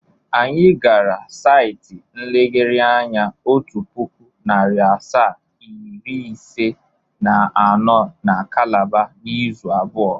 Anyị gara saịtị nlegharị anya otu pụkụ, narị asaa, iri ise na anọ na Kalaba n' ịzụ abụọ.